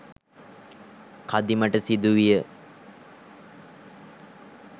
කදිමට සිදු විය